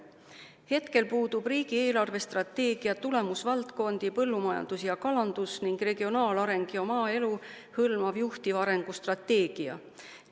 Hetkel puudub riigi eelarvestrateegia tulemusvaldkondi "Põllumajandus ja kalandus" ning "Regionaalareng ja maaelu" hõlmav juhtiv arengustrateegia.